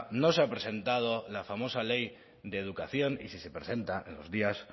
no se ha presentado la famosa ley de educación y si se presenta en los días